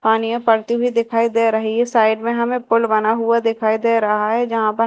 पानी य पड़ती हुई दिखाई दे रही है साइड में हमें पुल बना हुआ दिखाई दे रहा है जहां पर--